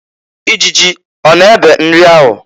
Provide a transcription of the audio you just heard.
Ijiji ọ na ebe nri ahụ?